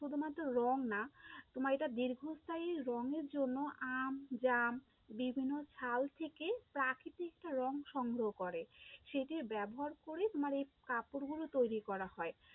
শুধুমাত্র রং না, তোমার এটা দীর্ঘস্থায়ী রঙের জন্য আম, জাম, বিভিন্ন ছাল থেকে প্রাকৃতিক একটা রং সংগ্রহ করে, সেইটির ব্যবহার করে তোমার এই কাপড়গুলো তৈরী করা হয়।